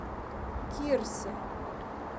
кирсе